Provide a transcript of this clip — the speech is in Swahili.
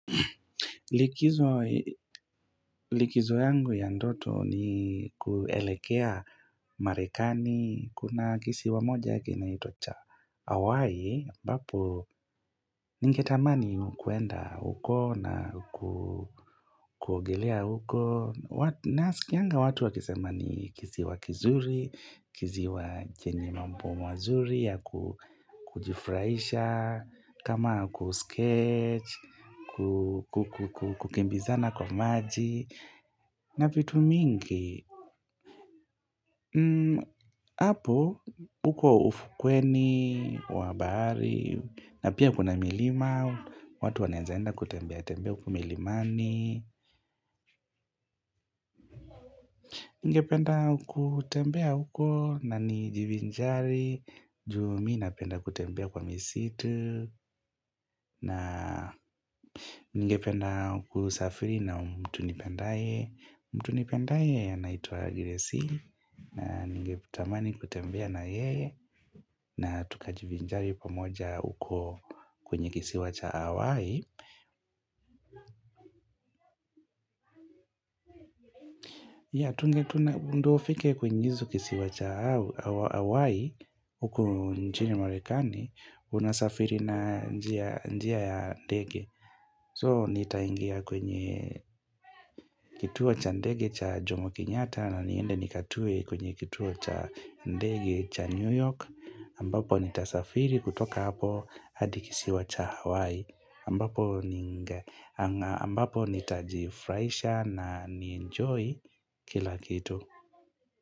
Likizo yangu ya ndoto ni kuelekea marekani, kuna kisiwa moja yake inaitwa cha hawai, ambapo ningetamani kuenda huko na kuogelea huko. Nasikianga watu wakisema ni kisiwa kizuri, kisiwa chenye mambo mazuri ya kujifraisha, kama ku skate, kukimbizana kwa maji, na vitu mingi. Hapo, huko ufukweni, wa bahari, na pia kuna milima, watu wanawezaenda kutembea, tembea huko milimani Nigependa kutembea huko na nijivinjari, juu mimi napenda kutembea kwa misitu na nigependa kusafiri na mtu nipendaye mtu nipendaye anaitwa gracie na ningetamani kutembea na yeye na tukajivinjari pamoja uko kwenye kisiwa cha Hawaii ndio ufike kwenye kisiwa cha Hawaii uko nchini marekani, unasafiri na njia ya ndege So nitaingia kwenye kituo cha ndege cha Jomo Kenyatta na niende nikatue kwenye kituo cha ndege cha New York ambapo nitasafiri kutoka hapo hadi kisiwa cha Hawaii ambapo nitajifurahisha na ni enjoy kila kitu.